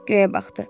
Göyə baxdı.